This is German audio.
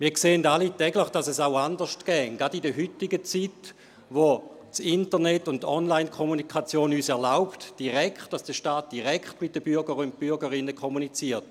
Wir sehen alle täglich, dass es auch anders ginge, gerade in der heutigen Zeit, wo Internet und Online-Kommunikation erlauben, dass der Staat direkt mit den Bürgern und Bürgerinnen kommuniziert.